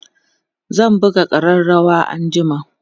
zan buga ƙararawa anjima